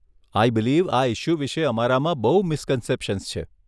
આઈ believe આ issue વિષે અમારામાં બહુ મિસકન્શેપ્શન્સ છે.